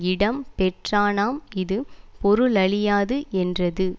இடம் பெற்றானாம் இது பொருளழியாது என்றது